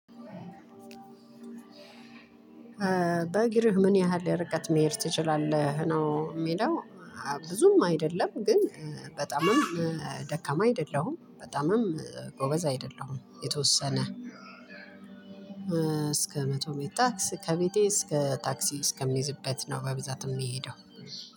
በእግርህ ምን ያህል ርቀት መሄድ ትችላለህ ነው የሚለው? ብዙም አይደለም ግን በጣምም ደካማ አይደለሁም በጣምም ጎበዝ አይደለሁም የተወሰነ እስከ መቶ ሜታክስ ከቤቴ እስከ ታክሲ እስከምይዝበት ነው። በብዛት የምንሄደው